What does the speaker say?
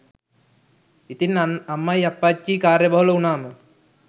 ඉතින් අම්මයි අප්පච්චියි කාර්ය බහුල වුනාම